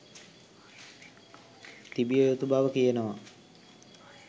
තිබිය යුතු බව කියනවා